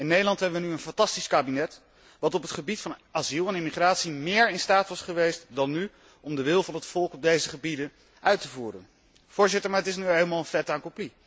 In Nederland hebben wij nu een fantastisch kabinet dat op het gebied van asiel en immigratie meer in staat was geweest dan nu om de wil van het volk op deze gebieden uit te voeren, maar het is nu eenmaal een